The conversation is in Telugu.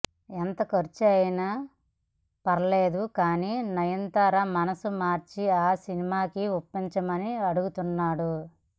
ఎంత ఖర్చయినా ఫర్లేదు కానీ నయనతార మనసు మార్చి ఈ సినిమాకి ఒప్పించమని అడుగుతున్నాడు